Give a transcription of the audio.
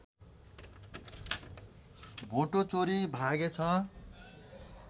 भोटो चोरी भागेछ